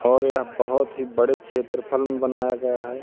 और यह बहोत ही बड़े क्षेत्रफल में बनाया गया है।